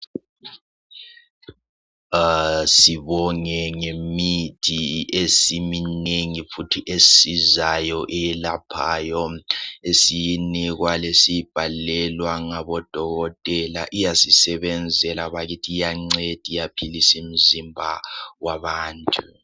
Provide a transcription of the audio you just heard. Asibonge ngemithi esiminengi futhi esizayo eyelaphayo esiyinikwa lesiyibhalelwa ngabodokotela iyasisebenzela bakithi iyanceda iyaphilisa imizimba wabantu.